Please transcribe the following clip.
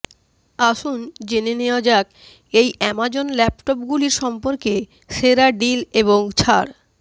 আসুন জেনে নেওয়া যাক এই অ্যামাজন ল্যাপটপগুলির সম্পর্কে সেরা ডিল এবং ছাড়